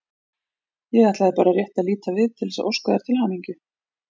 Ég ætlaði bara rétt að líta við til þess að óska þér til hamingju.